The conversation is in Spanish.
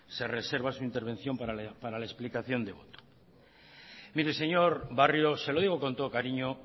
se reserva su intervención para la explicación de voto mire señor barrio se lo digo con todo cariño